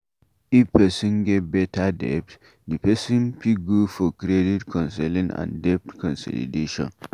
If person get better debt, di person fit go for credit councelling and debt consolidation